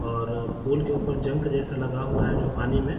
और पुल के ऊपर जंग जैसा लगा हुआ है पानी में --